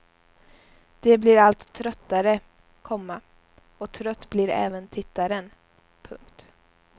De blir allt tröttare, komma och trött blir även tittaren. punkt